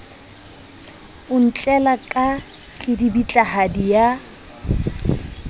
o ntlela ka kedibitlahadi ya